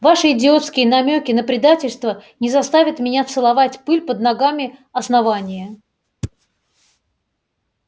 ваши идиотские намёки на предательство не заставят меня целовать пыль под ногами основания